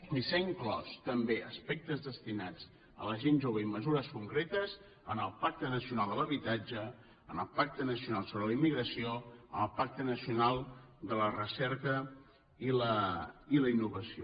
i s’han inclòs també aspectes destinats a la gent jove i mesures concretes en el pacte nacional de l’habitatge en el pacte nacional sobre la immigració en el pacte nacional de la recerca i la innovació